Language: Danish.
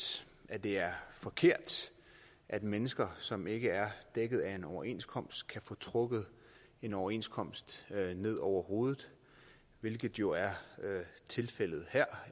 at det er forkert at mennesker som ikke er dækket af en overenskomst kan få trukket en overenskomst ned over hovedet hvilket jo er tilfældet her